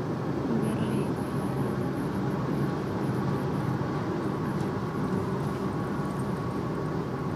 Beeralayda ayaa la daalaa dhacaysa dalagyada beeraha oo aad u liita roob la�aanta awgeed.